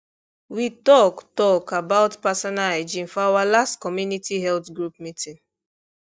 we talk talk about personal hygiene for our last community health group meeting